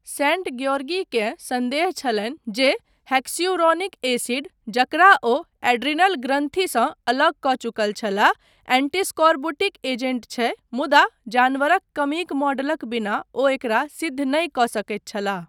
Saint ग्योर्गीकेँ सन्देह छलनि जे हेक्स्यूरोनिक एसिड, जकरा ओ एड्रीनल ग्रन्थिसँ अलग कऽ चुकल छलाह, एंटीस्कोर्बुटिक एजेंट छै, मुदा जानवरक कमीक मॉडलक बिना ओ एकरा सिद्ध नहि कऽ सकैत छलाह।